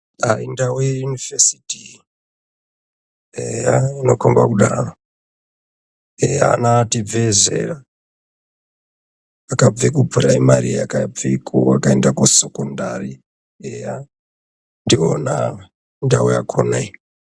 Ah indau yeyunivhesiti iyi, eya inokomba kudaro, eh ana atibvei zera. Akabve kupuraimari akabveko akaende kusekondari, ndivona ava ndau yakona iyi.